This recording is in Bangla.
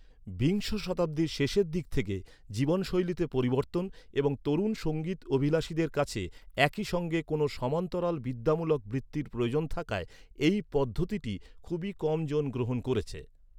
বিংশ শতাব্দীর শেষের দিক থেকে, জীবনশৈলীতে পরিবর্তন এবং তরুণ সঙ্গীত অভিলাষীদের কাছে একই সঙ্গে কোনও সমান্তরাল বিদ্যামূলক বৃত্তির প্রয়োজন থাকায়, এই পদ্ধতিটি খুবই কম জন গ্রহণ করেছে।